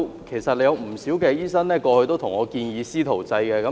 其實，過去有不少醫生向我建議"師徒制"。